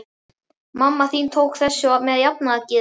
Mamma þín tók þessu með jafnaðargeði.